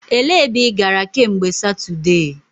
E lee ebe ị gara kemgbe Satudee?